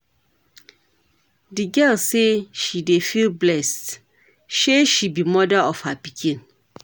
Di girl say she dey feel blessed sey she be moda to her pikin.